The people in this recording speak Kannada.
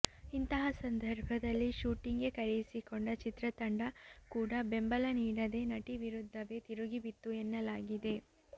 ಇಂತಹ ಸಂದರ್ಭದಲ್ಲಿ ಶೂಟಿಂಗ್ಗೆ ಕರೆಯಿಸಿಕೊಂಡ ಚಿತ್ರತಂಡ ಕೂಡ ಬೆಂಬಲ ನೀಡದೇ ನಟಿ ವಿರುದ್ಧವೇ ತಿರುಗಿ ಬಿತ್ತು ಎನ್ನಲಾಗಿದೆ